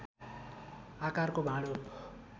आकारको भाँडो